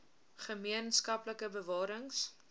gemeen skaplike bewarings